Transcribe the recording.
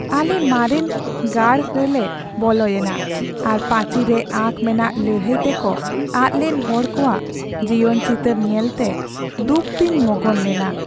ᱟᱞᱮ ᱢᱟᱨᱮᱱ ᱜᱟᱲ ᱨᱮᱞᱮ ᱵᱚᱞᱚᱭᱮᱱᱟ ᱟᱨ ᱯᱟᱹᱪᱤᱨ ᱨᱮ ᱟᱸᱠ ᱢᱮᱱᱟᱜ ᱞᱟᱹᱲᱦᱟᱹᱭ ᱛᱮᱠᱚ ᱟᱫ ᱞᱮᱱ ᱦᱚᱲ ᱠᱚᱣᱟᱜ ᱡᱤᱭᱚᱱ ᱪᱤᱛᱟᱹᱨ ᱧᱮᱞᱛᱮ ᱫᱩᱠ ᱛᱮᱧ ᱢᱚᱜᱚᱱ ᱞᱮᱱᱟ ᱾